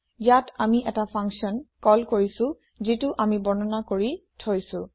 ইয়াত আমি এটা ফাংচন কল কৰিছো যিটো আমি বৰ্ণনা কৰি থৈছো